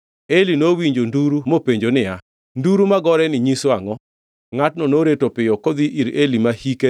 Eli nowinjo nduru mopenjo niya, “Nduru magoreni nyiso angʼo?” Ngʼatno noreto piyo kodhi ir Eli ma hike